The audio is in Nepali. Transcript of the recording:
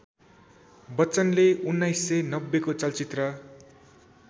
बच्चनले १९९० को चलचित्र